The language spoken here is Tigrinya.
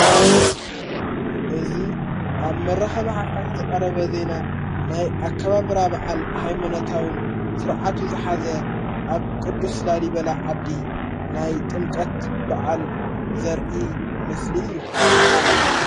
እዙይ ኣብ መራኸ መሓፋት ዝቐረበ ዜና ናይ ኣካባብራ ብዓል ኃይሞነታውን ሥርዓቱ ዝኃዘ ኣብ ቅዱስ ላሊበላ ዓዲ ናይ ጥምቀት በዓል ዘርኢ ምስሊ እዩ::